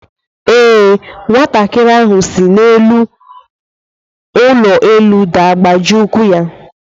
Ee, nwatakịrị ahụ si n'elu ụlọ elu daa gbajie ụkwụ ya.